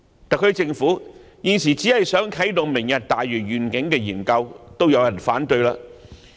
特區政府現時只想啟動"明日大嶼願景"研究也遭受反對。